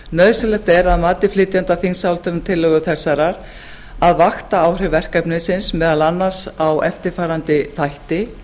nauðsynlegt er að mati flytjenda þingsályktunartillögu þessarar að vaktaáhrif verkefnisins meðal annars á eftirfarandi þætti